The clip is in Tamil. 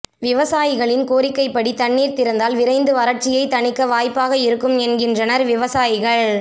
விவசாயிகளின் கோரிக்கை படி தண்ணீர் திறந்தால் விரைந்து வரட்சியை தணிக்க வாய்பாக இருக்கும் என்கின்றனர் விவசாயிகள்